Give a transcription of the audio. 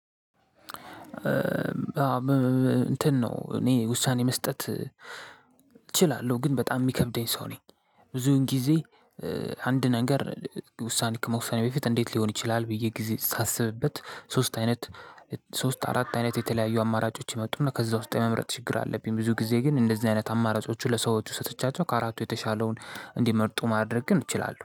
እንትን ነው እኔ ውሳኔ መስጠት እችላለሁ ግን በጣም የሚከብደኝ ሰው ነው። ብዙውን ጊዜ አንድ ነገር ውሳኔ ከመወሰኔ በፊት እንዴት ሊሆን ይችላል ብዬ ጊዜ ሳስብበት ሶስት አይነት ሶስት አራት አይነት የተለያዩ አማራጮች ይመጡና ከዛ ውስጥ የመምረጥ ችግር አለብኝ። ብዙ ጊዜ ግን እንደዚህ አይነት አማራጮች ለሰዎቹ ሰጥቻቸው ከአራቱ የተሻለውን እንዲመርጡ ማድረግ ግን እችላለሁ